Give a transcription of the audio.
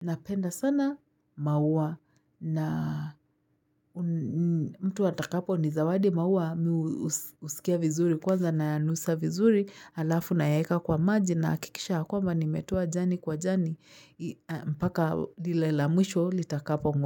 napenda sana maua na mtu atakaponizawadi maua mi husikia vizuri. Kwanza nayanusa vizuri halafu nayaweka kwa maji nahakikisha nimetoa jani kwa jani mpaka dile la mwisho litakapo mwa.